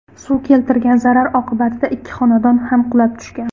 Suv keltirgan zarar oqibatida ikkita xonadon ham qulab tushgan.